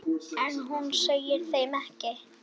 En hún segir þeim ekkert.